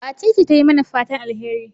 Wacece ta yi mana fatan alheri?